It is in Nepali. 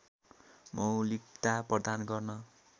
मौलिकता प्रदान गर्न